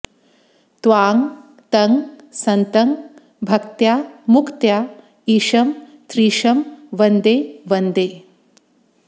त्वां तं सन्तं भक्त्या मुक्त्या ईशं त्रीशं वन्दे वन्दे